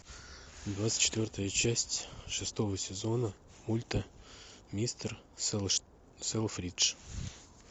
двадцать четвертая часть шестого сезона мульта мистер селфридж